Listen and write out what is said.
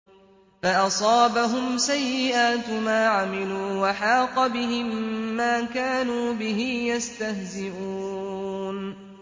فَأَصَابَهُمْ سَيِّئَاتُ مَا عَمِلُوا وَحَاقَ بِهِم مَّا كَانُوا بِهِ يَسْتَهْزِئُونَ